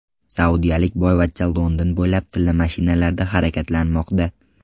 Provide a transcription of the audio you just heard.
Saudiyalik boyvachcha London bo‘ylab tilla mashinalarda harakatlanmoqda.